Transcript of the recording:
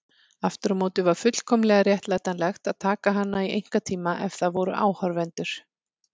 Aftur á móti var fullkomlega réttlætanlegt að taka hana í einkatíma ef það voru áhorfendur.